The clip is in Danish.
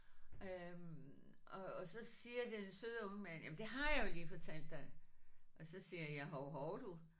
Øh og og så siger den søde unge mand jamen det har jeg jo lige fortalt dig og så siger jeg hov hov du